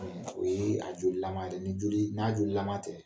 O ye a jolilama ye dɛ nin joli na jolillaman tɛ